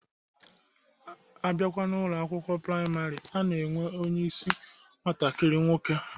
Abịakwa n'Ụlọ akwụkwọ praịmarị, a na-enwe onyeisi nwatakiri nwoke